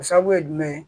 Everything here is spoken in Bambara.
O sababu ye jumɛn ye